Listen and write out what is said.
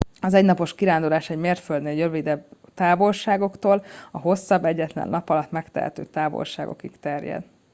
az egynapos kirándulás egy mérföldnél rövidebb távolságoktól a hosszabb egyetlen nap alatt megtehető távolságokig terjed